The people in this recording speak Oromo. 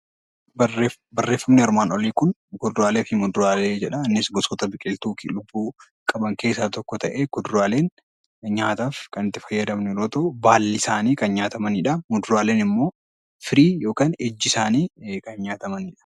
Muduraalee fi kuduraaleen gosoota biqilootaa lubbuu qaban keessaa tokko ta'ee kuduraaleen nyaataaf kan itti fayyadamnu yommuu ta'u, baalli isaanii kan nyaatamanidha. Muduraan immoo firiin yookaan ijji isaanii kan nyaatamanidha